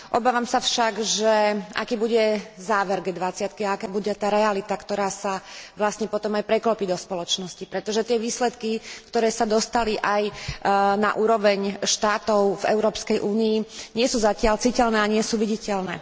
Obávam sa však, aký bude záver G20 a aká bude tá realita, ktorá sa vlastne potom aj preklopí do spoločnosti, pretože tie výsledky, ktoré sa dostali aj na úroveň štátov v Európskej únii, nie sú zatiaľ citeľné a nie sú viditeľné.